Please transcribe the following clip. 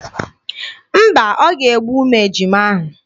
Mba, o ga-egbu ụmụ ejima ahụ.